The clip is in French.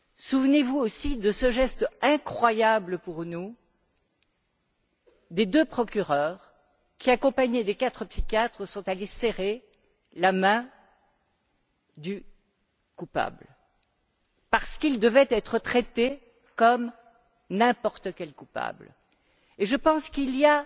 Souvenez vous aussi de ce geste incroyable pour nous des deux procureurs qui, accompagnés des quatre psychiatres, sont allés serrer la main du coupable, parce qu'il devait être traité comme n'importe quel coupable. Je pense qu'il y a